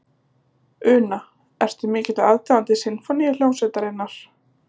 Una: Ertu mikill aðdáandi Sinfóníuhljómsveitarinnar?